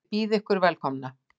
Ég býð ykkur velkomna.